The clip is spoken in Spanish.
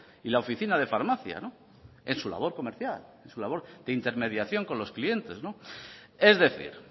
y la oficina de farmacia en su labor comercial en su labor de intermediación con los clientes es decir